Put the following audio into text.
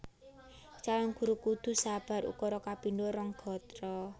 Calon Guru kudu sabar ukara kapindho rong gatra